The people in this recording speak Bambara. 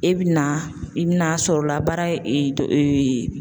E bi na i bina sɔrɔ la baara